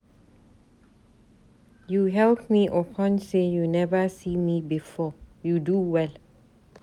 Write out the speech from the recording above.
You help me upon sey you neva see me before, you do well.